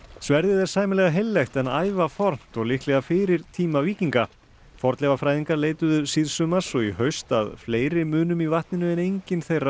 sverðið er sæmilega heillegt en ævafornt og líklega fyrir tíma víkinga fornleifafræðingar leituðu síðsumars og í haust að fleiri munum í vatninu en enginn þeirra